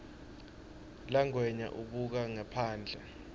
langwenya ubuka ngephandle